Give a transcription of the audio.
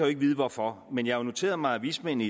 ikke vide hvorfor men jeg har jo noteret mig at vismændene